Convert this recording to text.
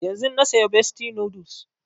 Yanzun na saya bestie noodles